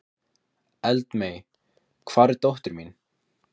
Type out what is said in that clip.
Eldmey, hvar er dótið mitt?